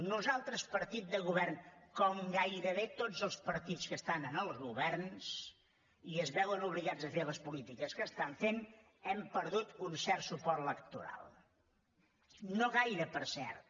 nosaltres partit de govern com gairebé tots els partits que estan en els governs i es veuen obligats a fer les polítiques que estan fent hem perdut un cert suport electoral no gaire per cert